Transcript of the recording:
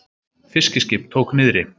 Fiskiskip tók niðri